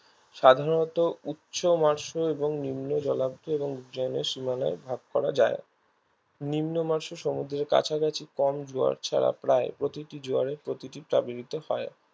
সাধারণত উচ্চমাসে এবং নিম্ন জলাদ্ধ এবং জলের সীমানায় ভাগ করা যায় নিম্নমাসে সমুদ্রের কাছাকাছি কম জোয়ার ছাড়া প্রায় প্রতিটি জোয়ারে প্রতিটি হয়